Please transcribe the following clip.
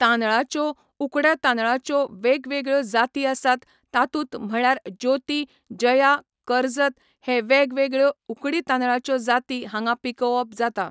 तांदळाच्यो उकड्या तांदळांच्यो वेगवेगळ्यो जाती आसात तातूंत म्हळ्यार ज्योती जया करजत हे वेगवेगळ्यो उकडी तांदळाच्यो जाती हांगा पिकोवप जाता